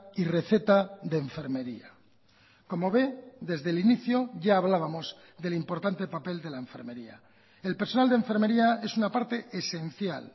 y receta de enfermería como ve desde el inicio ya hablábamos del importante papel de la enfermería el personal de enfermería es una parte esencial